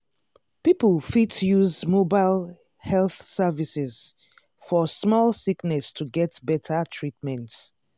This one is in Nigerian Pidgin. people fit use mobile health services for small sickness to get better treatment.